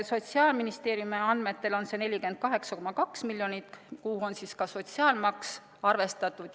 Sotsiaalministeeriumi andmetel on see 48,2 miljonit, kuhu on ka sotsiaalmaks arvestatud.